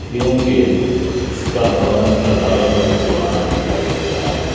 क्योंकि इसका भवन साधारण और पुराना दिखाई दे रहा है।